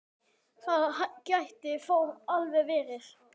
Það gæti þó alveg verið.